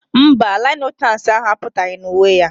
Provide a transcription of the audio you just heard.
Mba, lieutenance ahụ apụtaghị na uwe ya